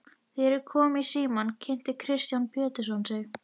Þegar ég kom í símann kynnti Kristján Pétursson sig.